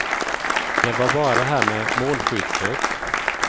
Det var bara det här med målskyttet.